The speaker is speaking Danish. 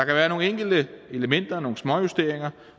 være nogle enkelte elementer nogle småjusteringer